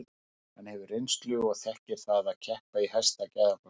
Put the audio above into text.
Hann hefur reynslu og þekkir það að keppa í hæsta gæðaflokki.